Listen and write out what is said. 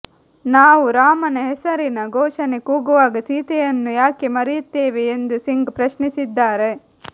ನಾವು ರಾಮನ ಹೆಸರಿನ ಘೋಷಣೆ ಕೂಗುವಾಗ ಸೀತೆಯನ್ನು ಯಾಕೆ ಮರೆಯುತ್ತೇವೆ ಎಂದು ಸಿಂಗ್ ಪ್ರಶ್ನಿಸಿದ್ದಾರೆ